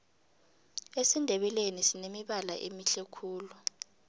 esindebeleni sinemibala emihle khulu